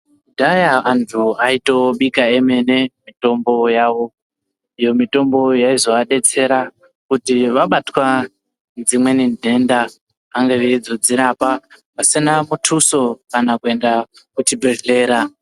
Kudhaya antu aitobika emene mitombo yawo. Iyo mitombo yaizoadetsera kuti vabatwa dzimweni nhenda vange veizodzirapa pasina mutuso kana kuenda kuchibhedhlera.